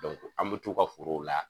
an be t'u ka foro la.